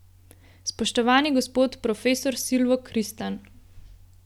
Spoštovani gospod profesor Silvo Kristan!